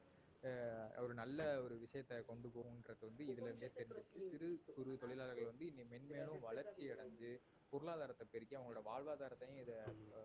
அஹ் ஒரு நல்ல ஒரு விஷயத்தை கொண்டு போவும் என்றது வந்து இதுல இருந்தே தெரிஞ்சிடுச்சு சிறு குறு தொழிலாளர்கள் வந்து இனி மென்மேலும் வளர்ச்சி அடைஞ்சி பொருளாதாரத்தைப் பெருக்கிக் அவங்களோட வாழ்வாதாரத்தையும் இத